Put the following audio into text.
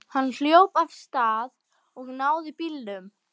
Hann hljóp af stað og náði bílnum.